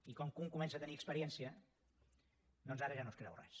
i com que un comença a tenir experiència doncs ara ja no es creu res